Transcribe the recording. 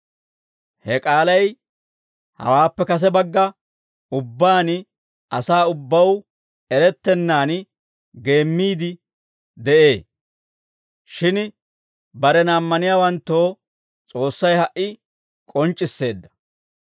Ha k'aalay hawaappe kase bagga ubbaan, asaa ubbaw erettennaan geemmiide de'ee; shin barena ammaniyaawanttoo S'oossay ha"i k'onc'c'isseedda.